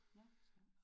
Nåh for Søren